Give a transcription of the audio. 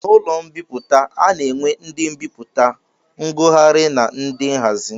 N'ụlọ mbipụta, a na-enwe ndị mbipụta, ngụgharị na ndị nhazi